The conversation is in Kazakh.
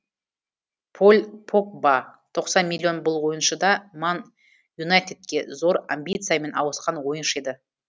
поль погба тоқсан миллион бұл ойыншы да ман юнайтедке зор амбициямен ауысқан ойыншы еді